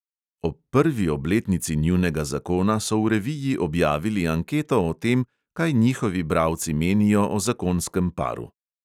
Ob prvi obletnici njunega zakona so v reviji objavili anketo o tem, kaj njihovi bralci menijo o zakonskem paru.